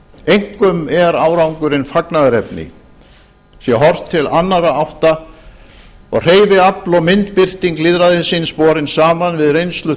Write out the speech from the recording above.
einkum er árangurinn fagnaðarefni sé horft til annarra átta og hreyfiafl og myndbirting lýðræðisins borin saman við reynslu